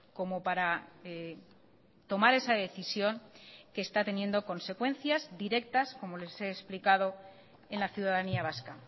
como para tomar esa decisión que está teniendo consecuencias directas como les he explicado en la ciudadanía vasca